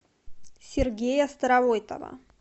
сергея старовойтова